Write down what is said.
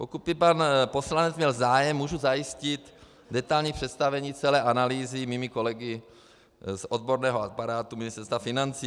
Pokud by pan poslanec měl zájem, mohu zajistit detailní představení celé analýzy mými kolegy z odborného aparátu Ministerstva financí.